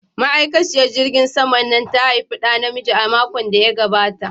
Ma'aikaciyar jirgin sama Nnanna ta haifi da namiji a makon da ya gabata.